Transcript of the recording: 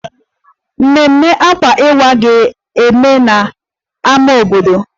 Mmemme Akwa Iwa ga-eme n'ámá obodo